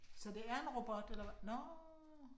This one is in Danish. Så det er en robot eller nåh